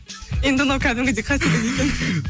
енді мынау кәдімгідей